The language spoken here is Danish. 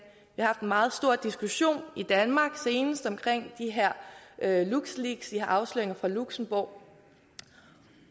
meget stor diskussion i danmark senest om de her luxleaks de her afsløringer fra luxembourg